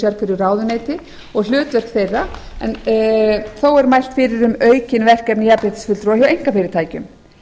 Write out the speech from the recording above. sérhverju ráðuneyti og hlutverk þeirra þó er mælt fyrir um aukin verkefni jafnréttisfulltrúa hjá einkafyrirtækjum